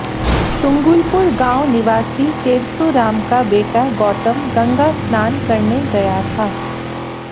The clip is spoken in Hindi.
सुंगुलपुर गांव निवासी तेरसू राम का बेटा गौतम गंगा स्नान करने गया था